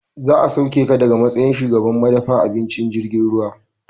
Za a sauke ka daga matsayin shugaban madafa abinci na jirgin ruwa